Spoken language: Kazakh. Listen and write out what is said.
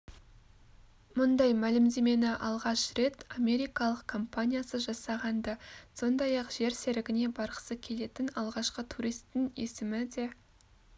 мұндай мәлімдемені алғаш рет америкалық компаниясы жасаған-ды сондай-ақ жер серігіне барғысы келетін алғашқы туристің есімі де